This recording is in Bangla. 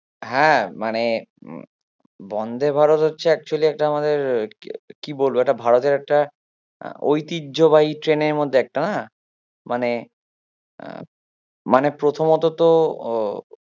হ্যাঁ মানে বন্দে ভারত হচ্ছে actually একটা আমাদের কি বলবো একটা ভারতের একটা ঐতিহ্যবাহী ট্রেন এর মধ্যে একটা না? মানে আহ মানে প্রথমত তো